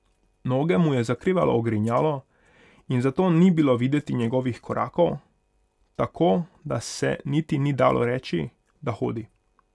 Noge mu je zakrivalo ogrinjalo in zato ni bilo videti njegovih korakov, tako da se niti ni dalo reči, da hodi.